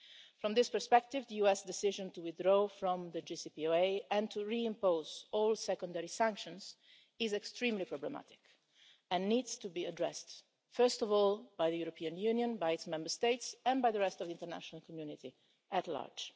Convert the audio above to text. From this perspective, the US decision to withdraw from the JCPOA and to re-impose all secondary sanctions is extremely problematic and needs to be addressed, first of all by the European Union, by its Member States, and by the rest of the international community at large.